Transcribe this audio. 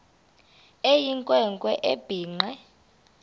eyinkwe nkwe ebhinqe